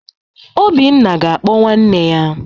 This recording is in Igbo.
Obinna ga-akpọ nwanne ya.